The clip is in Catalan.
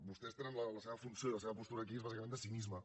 vostès tenen la seva funció i la seva postura aquí és bàsicament de cinisme